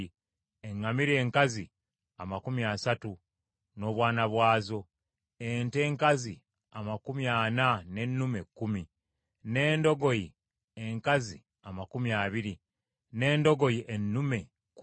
eŋŋamira enkazi amakumi asatu n’obwana bwazo, ente enkazi amakumi ana n’ennume kkumi, n’endogoyi enkazi amakumi abiri, n’endogoyi ennume kkumi.